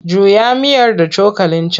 Juya miyar da cokalin can!